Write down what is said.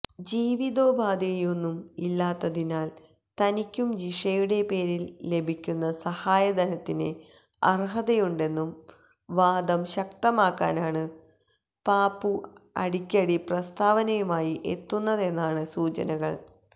ജീവിതോപാധിയൊന്നും ഇല്ലാത്തതിനാൽ തനിക്കും ജിഷയുടെ പേരിൽ ലഭിക്കുന്ന സഹായധനത്തിന് അർഹതയുണ്ടെന്ന വാദം ശക്തമക്കാനാണ് പാപ്പു അടിക്കടി പ്രസ്താവനയുമായി എത്തുന്നതെന്നാണ് സൂചനകൾ